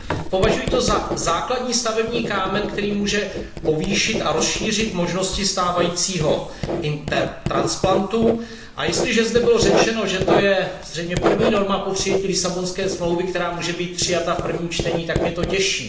Považuji to za základní stavební kámen, který může povýšit a rozšířit možnosti stávajícího Intertransplantu, a jestliže zde bylo řečeno, že to je zřejmě první norma po přijetí Lisabonské smlouvy, která může být přijata v prvním čtení, tak mě to těší.